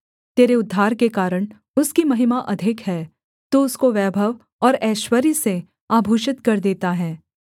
तेरे उद्धार के कारण उसकी महिमा अधिक है तू उसको वैभव और ऐश्वर्य से आभूषित कर देता है